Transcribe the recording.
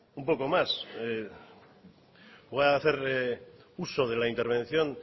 un poco más voy a hacer uso de la intervención